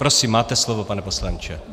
Prosím, máte slovo, pane poslanče.